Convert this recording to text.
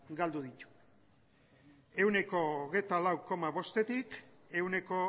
galdu ditu ehuneko hogeita lau koma bostetik ehuneko